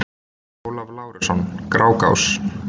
Ólafur Lárusson: Grágás